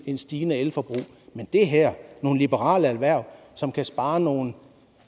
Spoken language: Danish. et stigende elforbrug men det her er nogle liberale erhverv som kan spare nogle